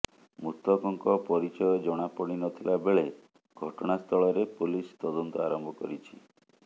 ମୃତକଙ୍କ ପରିଚୟ ଜଣାପଡିନଥିଲା ବେଳେ ଘଟଣା ସ୍ଥଳରେ ପୋଲିସ ତଦନ୍ତ ଆରମ୍ଭ କରିଛି